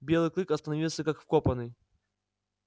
белый клык остановился как вкопанный